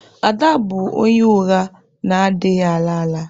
Ada bụ onye ụgha na-adịghị ala ala.